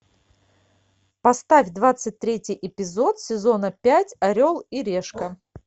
поставь двадцать третий эпизод сезона пять орел и решка